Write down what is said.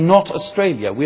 We are not Australia.